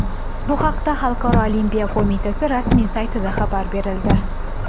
Bu haqda Xalqaro olimpiya qo‘mitasi rasmiy saytida xabar berildi .